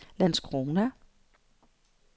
Landskrona